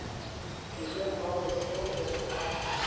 direng ba mo seohela ba